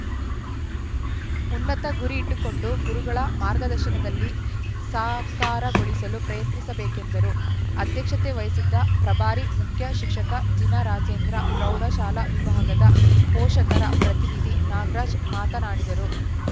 ಉನ್ನತ ಗುರಿ ಇಟ್ಟುಕೊಂಡು ಗುರುಗಳ ಮಾರ್ಗದರ್ಶನದಲ್ಲಿ ಸಾಕಾರಗೊಳಿಸಲು ಪ್ರಯತ್ನಿಸಬೇಕೆಂದರು ಅಧ್ಯಕ್ಷತೆ ವಹಿಸಿದ್ದ ಪ್ರಭಾರಿ ಮುಖ್ಯಶಿಕ್ಷಕ ಜಿನರಾಜೇಂದ್ರ ಪ್ರೌಢಶಾಲಾ ವಿಭಾಗದ ಪೋಷಕರ ಪ್ರತಿನಿಧಿ ನಾಗರಾಜ್‌ ಮಾತನಾಡಿದರು